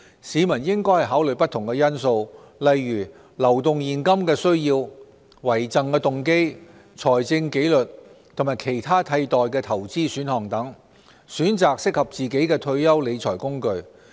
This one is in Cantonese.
市民應考慮不同因素，例如流動現金的需要、遺贈動機、財政紀律和其他替代投資選項等，選擇適合自己的退休理財工具。